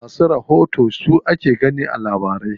Masu rahoto su ake gani a labarai.